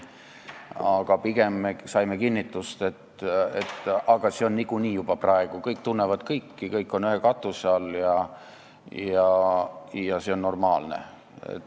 Aga pigem saime kinnitust, et aga see on niikuinii juba ka praegu nii, kõik tunnevad kõiki, kõik on ühe katuse all ja see on normaalne.